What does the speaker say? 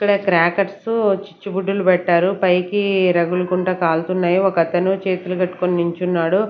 ఇక్కడ క్రాకర్స్ చుచ్చుబుడ్డిలు పెట్టారు పైకి రగులుకుంట కాలుతున్నాయి ఒకతను చేతులు కట్టుకొని నించున్నాడు.